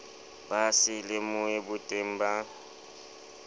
ba se lemohe boteng ba